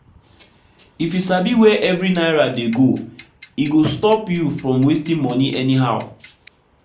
if you sabi where every naira dey go e go stop you from wasting money anyhow.